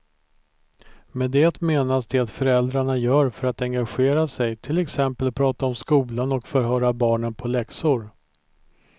Med det menas det föräldrarna gör för att engagera sig, till exempel prata om skolan och förhöra barnen på läxor.